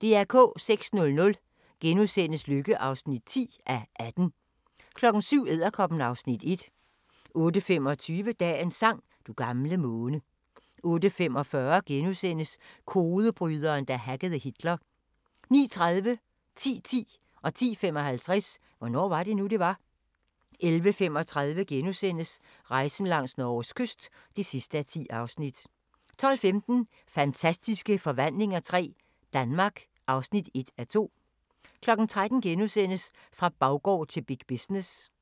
06:00: Lykke (10:18)* 07:00: Edderkoppen (Afs. 1) 08:25: Dagens sang: Du gamle måne 08:45: Kodebryderen, der hackede Hitler * 09:30: Hvornår var det nu, det var? 10:10: Hvornår var det nu, det var? 10:55: Hvornår var det nu, det var? 11:35: Rejsen langs Norges kyst (10:10)* 12:15: Fantastiske forvandlinger III – Danmark (1:2) 13:00: Fra baggård til big business *